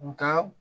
Nga